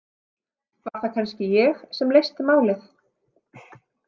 Var það kannski ég sem leysti málið?